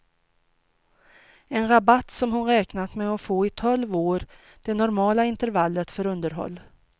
En rabatt som hon räknat med att få i tolv år, det normala intervallet för underhåll.